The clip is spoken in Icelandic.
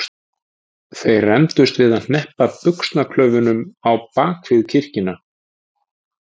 Þeir rembdust við að hneppa buxnaklaufunum á bak við kirkjuna.